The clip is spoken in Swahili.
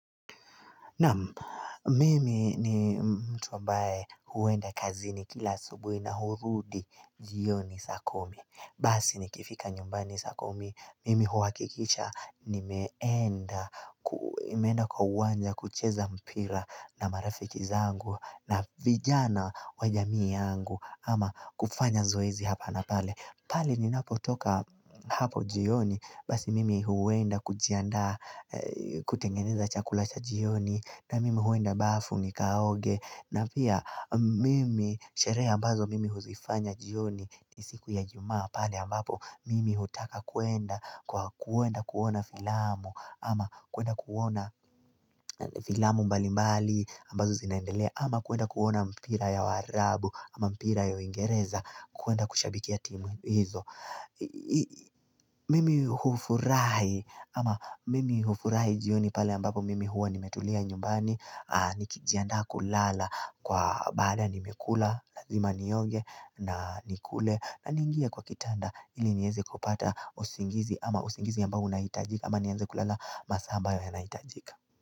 Naam mimi ni mtu ambaye huenda kazini kila asubuhi na kurudi jioni saa kumi. Basi nikiifika nyumbani saa kumi mimi huwakilisha nimeenda kwa uwanja kucheza mpira na marafiki zangu na vijana wa jamii yangu ama kufanya zoezi hapa na pale. Pale ninapo toka hapo jioni basi mimi huwenda kujiandaa kutengeneza chakula cha jioni na mimi huenda bafu nikaoge na pia mimi sherehe ambazo mimi huzifanya jioni ni siku ya ijumaa pale ambapo mimi hutaka kuenda kuona filamu ama kuenda kuona filamu mbali mbali ambazo zinaendelea ama kuenda kuona mpira ya waarabu ama mpira ya uingereza kuenda kushabikia timu hizo. Mimi hufurahi ama mimi hufurahi jioni pale ambapo mimi huwa nimetulia nyumbani nikijiandaa kulala kwa baada nimekula lazima nioge na nikule na niingia kwa kitanda ili nieze kupata usingizi ama usingizi ambao unahitajika ama nianze kulala masaa ambayo yanahitajika.